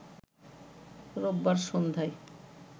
রোববার সন্ধায়